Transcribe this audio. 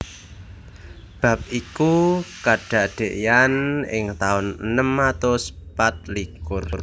Bab iku kadadéyan ing taun enem atus patlikur